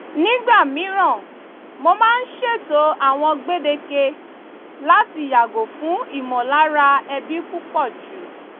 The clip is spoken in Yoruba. nígbà mìíràn mo máa ń ṣètò àwọn gbèdéke láti yàgò fún ìmọ̀lára ẹbí púpọ̀jù